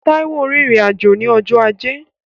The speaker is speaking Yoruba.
Táíwò rìnrìn-àjò ní ọjọ́ ajé